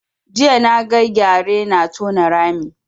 Jiya na ga gyare na tona rami